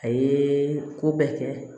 A ye ko bɛɛ kɛ